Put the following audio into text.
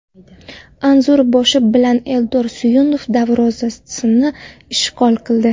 Anzur boshi bilan Eldor Suyunov darvozasini ishg‘ol qildi.